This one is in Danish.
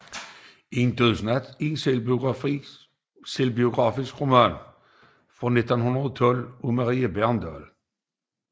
En Dødsnat er en selvbiografisk roman fra 1912 af Marie Bregendahl